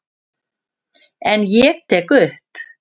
En ég tek upp.